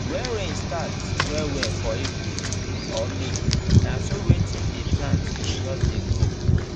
when rain start well well for april or may na so wetin dey plant go just dey grow